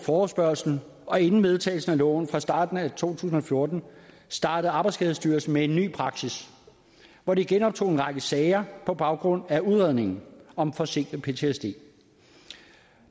forespørgslen og inden vedtagelsen af loven fra starten af to tusind og fjorten startede arbejdsskadestyrelsen med en ny praksis hvor de genoptog en række sager på baggrund af udredningen om forsinket ptsd